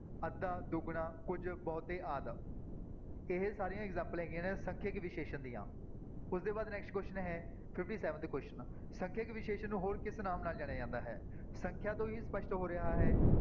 ਅੱਧਾ, ਦੁੱਗਣਾ, ਕੁੱਝ, ਬਹੁਤੇ ਆਦਿ ਇਹ ਸਾਰੀਆਂ ਐਗਜਾਮਪਲਾਂ ਹੈਗੀਆਂ ਨੇ ਸੰਖਿਅਕ ਵਿਸ਼ੇਸ਼ਣ ਦੀਆਂ, ਉਸਦੇ ਬਾਅਦ next question ਹੈ fifty-seventh question ਸੰਖਿਅਕ ਵਿਸ਼ੇਸ਼ਣ ਨੂੰ ਹੋਰ ਕਿਸ ਨਾਮ ਨਾਲ ਜਾਣਿਆ ਜਾਂਦਾ ਹੈ, ਸੰਖਿਆ ਤੋਂ ਹੀ ਸਪਸ਼ਟ ਹੋ ਰਿਹਾ ਹੈ,